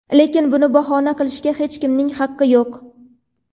Lekin buni bahona qilishga hech kimning haqqi yo‘q.